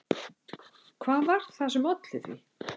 Hvað var það sem olli því?